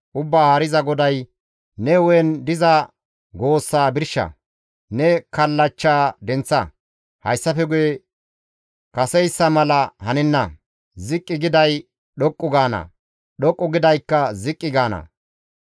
Ubbaa Haariza GODAY, ‹Ne hu7en diza goossaa birsha; ne kallachcha denththa. Hayssafe guye kaseyssa mala hanenna; ziqqi giday dhoqqu gaana; dhoqqu gidaykka ziqqi gaana.